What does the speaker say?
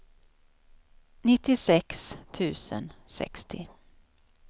nittiosex tusen sextio